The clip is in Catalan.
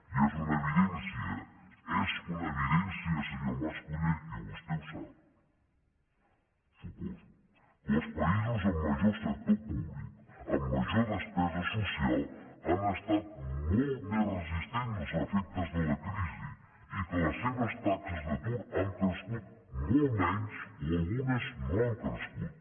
i és una evidència és una evidència senyor mas colell i vostè ho sap ho suposo que els països amb major sector públic amb major despesa social han estat molt més resistents als efectes de la crisi i que les seves taxes d’atur han crescut molt menys o algunes no han crescut